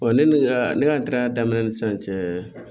ne ni ne ka ntaara daminɛ ni sisan cɛ